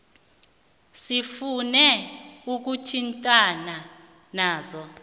sifune ukuthintana nazo